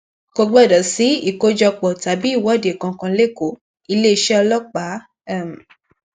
kò gbọdọ sí ìkójọpọ tàbí ìwọde kankan lẹkọọ iléeṣẹ ọlọpàá um